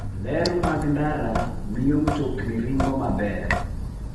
Ler mag ndara miyo mtokni ringo maber.